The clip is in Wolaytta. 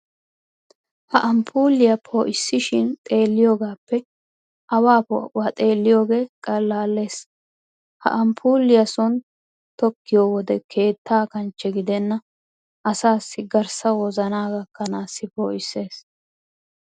Ha amppuuliya poo'ishin xeelliyogaappe awaa poo'uwa xeelliyoogee qallaallees. Ha amppuuliya sooni tokkiyo wode keetta kanchche gidenna asaassi garssa wozanaa gakkanaassi poo'isses.